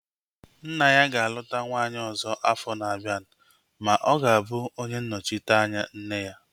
Nna ya ga-aluta nwaanyị ọzọ afọ na-abianu ma ọ ga-abụ onye nnọchiteanya nne ya